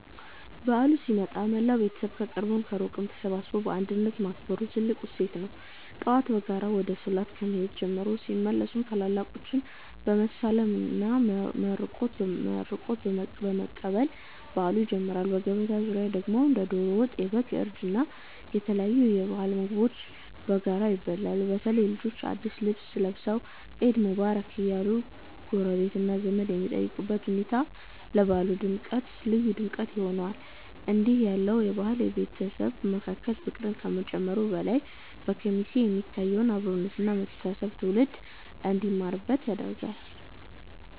በዓሉ ሲመጣ መላው ቤተሰብ ከቅርብም ከሩቅም ተሰባስቦ በአንድነት ማክበሩ ትልቁ እሴት ነው። ጠዋት በጋራ ወደ ሶላት ከመሄድ ጀምሮ፣ ሲመለሱም ታላላቆችን በመሳለምና መርቆት በመቀበል በዓሉ ይጀምራል። በገበታ ዙሪያ ደግሞ እንደ ዶሮ ወጥ፣ የበግ እርድ እና የተለያዩ የሀገር ባህል ምግቦች በጋራ ይበላሉ። በተለይ ልጆች አዳዲስ ልብስ ለብሰው "ዒድ ሙባረክ" እያሉ ጎረቤትና ዘመድ የሚጠይቁበት ሁኔታ ለበዓሉ ልዩ ድምቀት ይሰጠዋል። እንዲህ ያለው በዓል በቤተሰብ መካከል ፍቅርን ከመጨመሩም በላይ፣ በኬሚሴ የሚታየውን አብሮነት እና መተሳሰብ ትውልድ እንዲማርበት ያደርጋል።